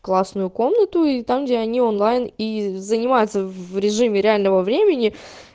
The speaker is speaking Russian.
классную комнату и там где они онлайн и занимаются в режиме реального времени